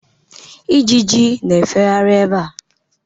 Ijiji na-efegharị ebea